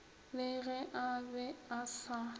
le ge a be asa